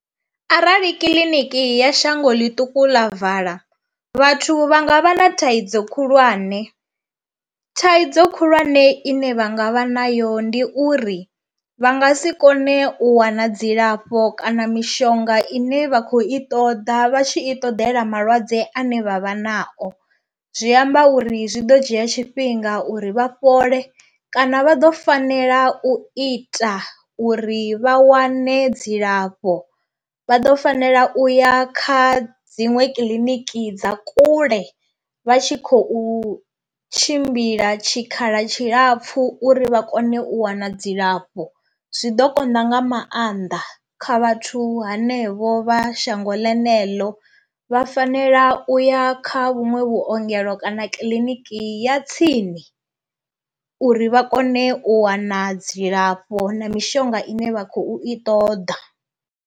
Arali kiḽiniki ya shango ḽiṱuku ḽa vala, vhathu vha nga vha na thaidzo khulwane, thaidzo khulwane ine vha nga vha nayo ndi uri vha nga si kone u wana dzilafho kana mishonga ine vha khou i ṱoḓa vha tshi i ṱoḓela malwadze ane vha vha nao. Zwi amba uri zwi ḓo dzhia tshifhinga uri vha fhole kana vha ḓo fanela u ita uri vha wane dzilafho vha ḓo fanela u ya kha dziṅwe kiḽiniki dza kule vha tshi khou tshimbila tshikhala tshilapfhu vha kone u wana dzilafho zwi ḓo konḓa nga maanḓa kha vhathu hanevho vha shango ḽeneḽo vha fanela u ya kha vhunwe vhuongelo kana kiḽiniki ya tsini uri vha kone u wana dzilafho na mishonga ine vha khou i ṱoḓa.